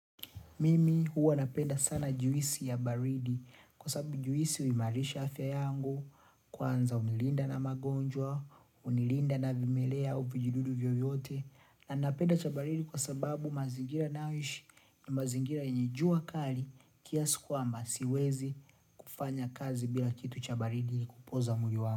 Mimi huwa napenda sana juisi ya baridi kwa sababu juisi huimarisha afya yangu, kwanza unilinda na magonjwa, unilinda na vimelea au vijidudu vyoyote na napenda cha baridi kwa sababu mazingira nayo ishi ni mazingira yenye jua kali kiasi kwamba siwezi kufanya kazi bila kitu cha baridi kupoza mwili wangu.